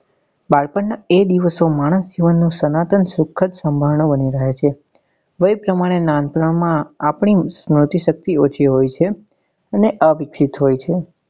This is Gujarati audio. બાળપણ નાં એ દિવસો માણસ જીવન નું સનાતન સુખ જ સમરણ બની રહે છે દરેક પ્રમાણે નાનપણ માં આપડી સ્મૃતિશક્તિ ઓછી હોય છે અને અ વિકસિત હોય છે